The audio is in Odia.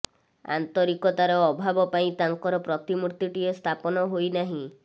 ଆନ୍ତରିକତାର ଅଭାବ ପାଇଁ ତାଙ୍କର ପ୍ରତିମୂର୍ତ୍ତିଟିଏ ସ୍ଥାପନ ହୋଇ ନାହିଁ